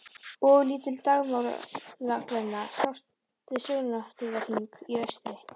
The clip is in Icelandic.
Ofurlítil dagmálaglenna sást við sjóndeildarhring í austri.